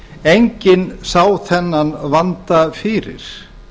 enginn sá þennan vanda fyrir